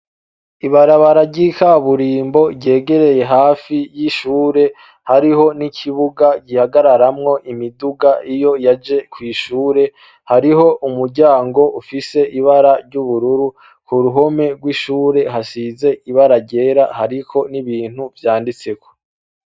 Ibarabara ry'ikaburimbo ryegereye hafi y'ishure hariho n'ikibuga gihagararamwo imiduga iyo yaje kw'ishure hariho umuryango ufise ibara ry'ubururu, ku ruhome rw'ishure hasize ibara ryera hariko n'ibintu vyanditseko.